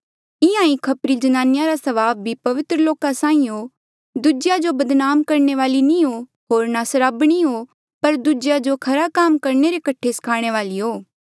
इंहां ही खपरी ज्नानिया रा स्वभाव भी पवित्र लोका साहीं हो दूजेया जो बदनाम करणे वाली नी हो होर ना दारुबाज हो पर दूजेया जो खरा काम करणे रे कठे स्खाणे वाली हो